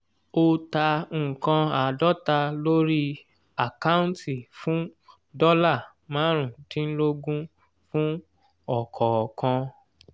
o ta nǹkan àádọ́ta lórí àkáǹtì fún dọ́là marun dínlógún fún ọ̀kọ̀ọ̀kan.